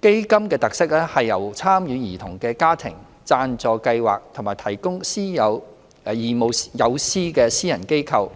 基金的特色是由參與兒童的家庭、贊助計劃或提供義務友師的私人機構、